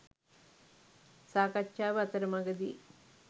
සාකච්ඡාව අතරමඟදී